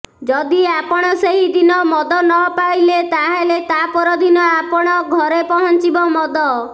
ଯଦି ଆପଣ ସେହି ଦିନ ମଦ ନ ପାଇଲେ ତାହେଲେ ତାପର ଦିନ ଆପଣ ଘରେ ପହଞ୍ଚିବ ମଦ